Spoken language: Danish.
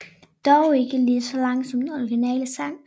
Dog ikke lige så lang som den originale sang